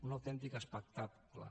un autèntic espectacle